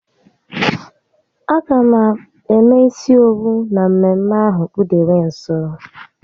A ga m eme isi owu na mmemme ahụ kpudewe nso